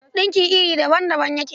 Ɗinki iri daban-daban yake.